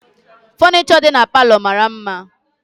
Funisho dị n'palo mara mma